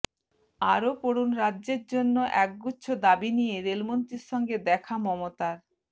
আরও পড়ুন রাজ্যের জন্য একগুচ্ছ দাবি নিয়ে রেলমন্ত্রীর সঙ্গে দেখা মমতার